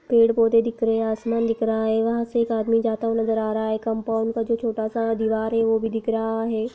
पेड़ पौधे दिख रहे हैं आसमान दिख रहा है। यहाँ से एक आदमी जाता हुआ नजर रहा है। कंपाउंड का जो छोटा सा दीवार है वो भी दिख रहा है।